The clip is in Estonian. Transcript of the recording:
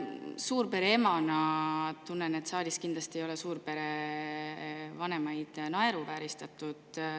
Suurpere emana tunnen, et kindlasti ei ole siin saalis suurpere vanemaid naeruvääristatud.